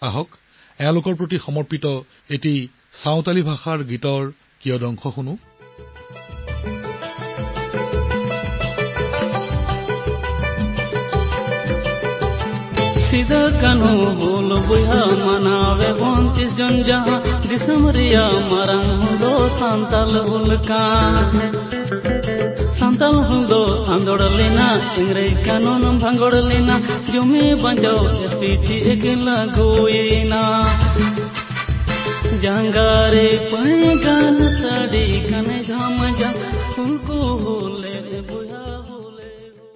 আহকচোন সন্থালী ভাষাত তেওঁৰ বাবে উৎসৰ্গিত এটা গীত শুনো